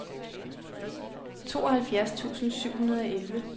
tooghalvfjerds tusind syv hundrede og elleve